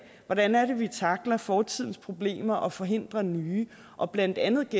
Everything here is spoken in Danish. hvordan det er vi tackler fortidens problemer og forhindrer nye og blandt andet